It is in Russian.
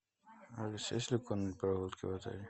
алиса есть ли конные прогулки в отеле